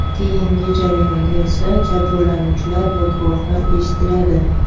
Keyingi jarayonda esa jabrlanuvchilar va guvohlar eshitiladi.